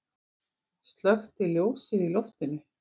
Slökkti ljósið í loftinu.